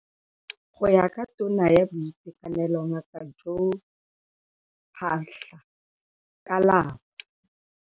Go ya ka Tona ya Boitekanelo Ngaka Joe Phaahla, ka la bo.